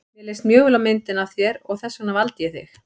Mér leist mjög vel á myndina af þér og þess vegna valdi ég þig.